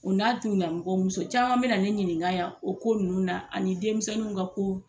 U n'a tun nanu kɔ, muso caman bɛ na ne ɲininka yan o ko nunnu na ani denmisɛnniw ka kow.